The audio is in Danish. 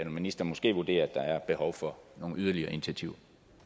ministeren måske vurderer at der er behov for nogle yderligere initiativer